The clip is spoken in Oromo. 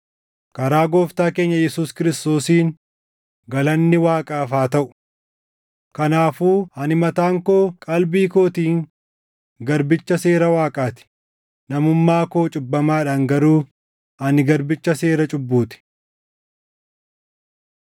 Karaa Gooftaa keenya Yesuus Kiristoosiin galanni Waaqaaf haa taʼu! Kanaafuu ani mataan koo qalbii kootiin garbicha seera Waaqaa ti; namummaa koo cubbamaadhaan garuu ani garbicha seera cubbuu ti.